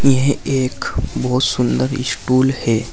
यह एक बहोत सुंदर स्टूल है।